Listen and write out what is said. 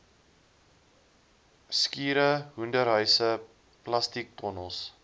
skure hoenderhuise plastiektonnels